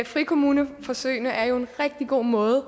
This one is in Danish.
frikommuneforsøgene er jo en rigtig god måde